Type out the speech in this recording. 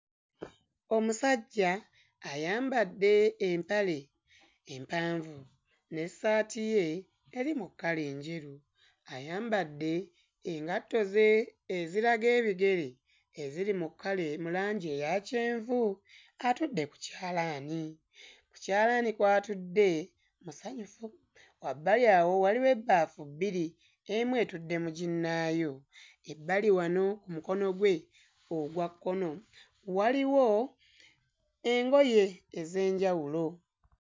Omusajja ayambadde empale empanvu n'essaati ye eri mu kkala enjeru ayambadde engatto ze eziraga ebigere eziri mu kkala mu langi eya kyenvu atudde ku kyalaani. Ku kyalaani kw'atudde musanyufu wabbali awo waliwo ebbaafu bbiri emu etudde mu ginnaayo ebbali wano ku mukono gwe ogwa kkono waliwo engoye ez'enjawulo.